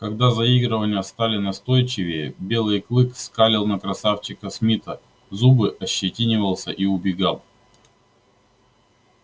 когда заигрывания стали настойчивее белый клык скалил на красавчика смита зубы ощетинивался и убегал